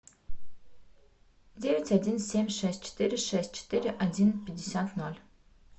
девять один семь шесть четыре шесть четыре один пятьдесят ноль